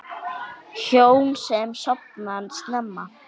Hjón sem sofna snemma